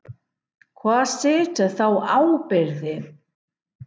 Hvar situr þá ábyrgðin?